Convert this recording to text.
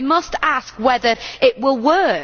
So we must ask whether it will work.